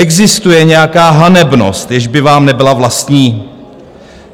Existuje nějaká hanebnost, jež by vám nebyla vlastní?